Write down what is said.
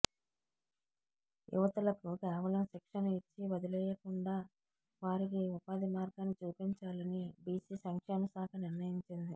యువతులకు కేవలం శిక్షణ ఇచ్చి వదిలేయకుండా వారికి ఉపాధి మార్గాన్ని చూపించాలని బిసి సంక్షేమ శాఖ నిర్ణయించింది